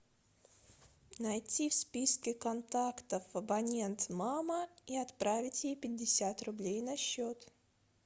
найти в списке контактов абонент мама и отправить ей пятьдесят рублей на счет